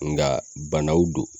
Nga banaw don